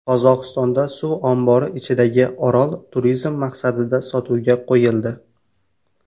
Qozog‘istonda suv ombori ichidagi orol turizm maqsadida sotuvga qo‘yildi.